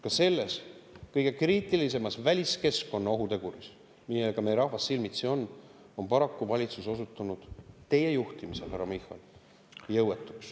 Ka selle kõige kriitilisema väliskeskkonna ohuteguri puhul, millega meie rahvas silmitsi, on valitsus paraku osutunud teie juhtimisel, härra Michal, jõuetuks.